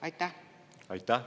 Aitäh!